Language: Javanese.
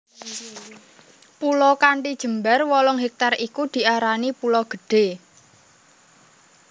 Pulo kanthi jembar wolung hektar iku diarani Pulo Gedhe